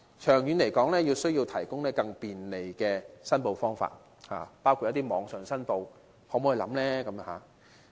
長遠來說，需要提供更便利的申報方法，包括可於網上申報。